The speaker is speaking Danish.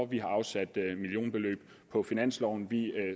vi har afsat millionbeløb på finansloven vi